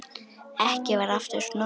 Ekki var aftur snúið.